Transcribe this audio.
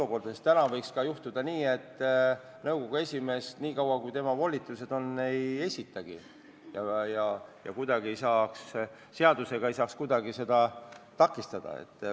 Praegu võiks juhtuda ka nii, et nõukogu esimees nii kaua, kui tema volitused kehtivad, ei esitagi nõukogu uut koosseisu ja seadusele toetudes ei saaks kuidagi seda takistada.